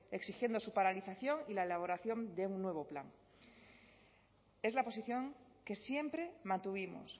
exigiendo su paralización y la elaboración de un nuevo plan es la posición que siempre mantuvimos